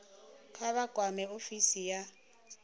kha vha kwame ofisi ya